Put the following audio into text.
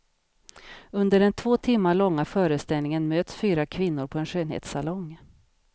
Under den två timmar långa föreställningen möts fyra kvinnor på en skönhetssalong.